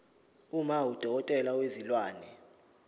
uma udokotela wezilwane